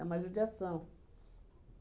uma judiação.